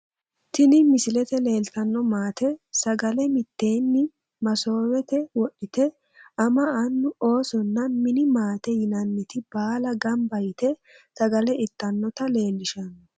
Tini misilete leeltano maate sagale miteeni masoowete wodhite ama anu oosonna mini maate yinaniti baala ganba yite sagale itanota leelishano.